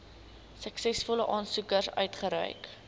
suksesvolle aansoekers uitgereik